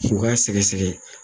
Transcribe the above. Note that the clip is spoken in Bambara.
U k'a sɛgɛsɛgɛ